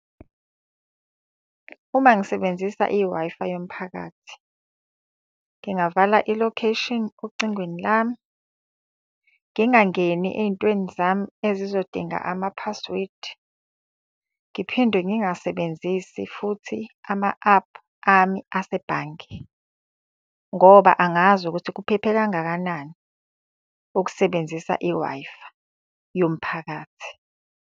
Uma ngisebenzisa i-Wi-Fi yomphakathi. Ngingavala ilocation ocingweni lami, ngingangeni ey'ntweni zami ezizodinga amaphasiwedi. Ngiphinde ngingasebenzisi futhi ama-ephu ami asebhange. Ngoba angazi ukuthi kuphephe kangakanani ukusebenzisa i-Wi-Fi yomphakathi.